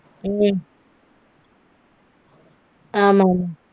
உம் ஆமாங்